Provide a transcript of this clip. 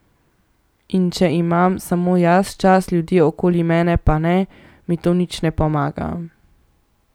In če imam samo jaz čas, ljudje okoli mene pa ne, mi to nič ne pomaga.